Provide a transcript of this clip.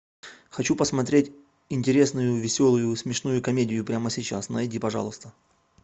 хочу посмотреть интересную веселую смешную комедию прямо сейчас найди пожалуйста